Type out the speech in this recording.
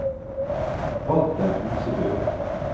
Walter Husebø